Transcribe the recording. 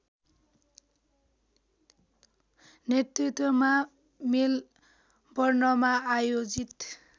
नेतृत्वमा मेलबर्नमा आयोजित